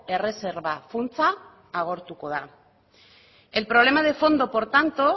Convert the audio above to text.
erreserba funtsa agortuko da el problema de fondo por tanto